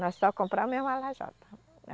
Nós só compramos mesmo a lajota.